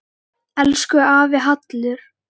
Elsku afi Hallur.